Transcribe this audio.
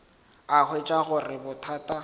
a hwetša go le bothata